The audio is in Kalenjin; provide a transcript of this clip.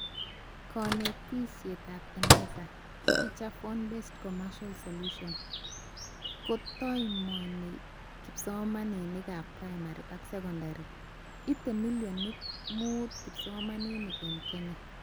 Konetishetab Eneza *Feature-phone-based commercial solution* kotaimoni kipsomaninkab primary ak secondard, ite milonit mutu kipsomanink eng Kenya